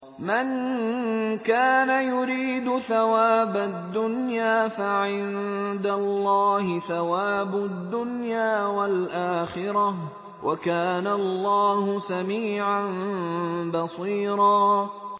مَّن كَانَ يُرِيدُ ثَوَابَ الدُّنْيَا فَعِندَ اللَّهِ ثَوَابُ الدُّنْيَا وَالْآخِرَةِ ۚ وَكَانَ اللَّهُ سَمِيعًا بَصِيرًا